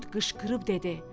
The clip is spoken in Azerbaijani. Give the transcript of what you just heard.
Qurd qışqırıb dedi: